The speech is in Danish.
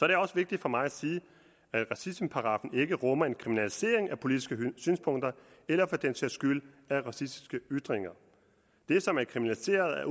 det også vigtigt for mig at sige at racismeparagraffen ikke rummer en kriminalisering af politiske synspunkter eller for den sags skyld af racistiske ytringer det som er kriminaliseret er